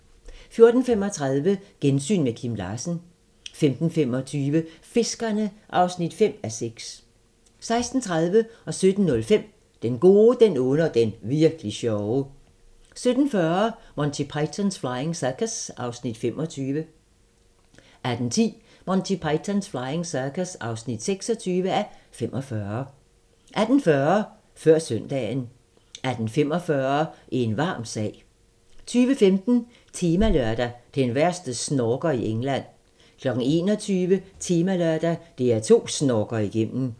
14:35: Gensyn med Kim Larsen 15:25: Fiskerne (5:6) 16:30: Den gode, den onde og den virk'li sjove 17:05: Den gode, den onde og den virk'li sjove 17:40: Monty Python's Flying Circus (25:45) 18:10: Monty Python's Flying Circus (26:45) 18:40: Før søndagen 18:45: En varm sag 20:15: Temalørdag: Den værste snorker i England 21:00: Temalørdag: DR2 snorker igennem